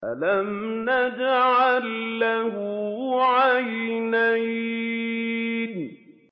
أَلَمْ نَجْعَل لَّهُ عَيْنَيْنِ